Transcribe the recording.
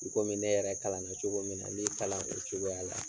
I komi ne yɛrɛ kalanna cogo min na n b'i kalan o cogoya la.